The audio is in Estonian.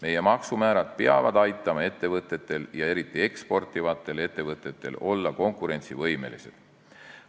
Meie maksumäärad peavad aitama ettevõtetel ja eriti eksportivatel ettevõtetel olla konkurentsivõimelised.